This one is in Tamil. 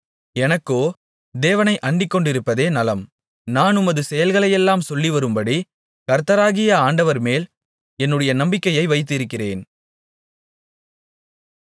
எனக்கோ தேவனை அண்டிக்கொண்டிருப்பதே நலம் நான் உமது செயல்களையெல்லாம் சொல்லிவரும்படி கர்த்தராகிய ஆண்டவர்மேல் என்னுடைய நம்பிக்கையை வைத்திருக்கிறேன்